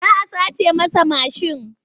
Za a sace masa mashin.